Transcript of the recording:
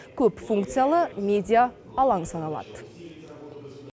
көпфункциялы медия алаңы саналады